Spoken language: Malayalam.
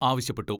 ആവശ്യപ്പെട്ടു.